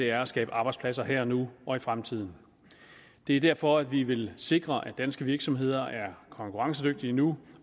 er at skabe arbejdspladser her og nu og i fremtiden det er derfor vi vil sikre at danske virksomheder er konkurrencedygtige nu